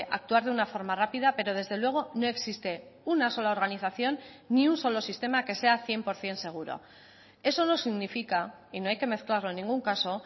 actuar de una forma rápida pero desde luego no existe una sola organización ni un solo sistema que sea cien por ciento seguro eso no significa y no hay que mezclarlo en ningún caso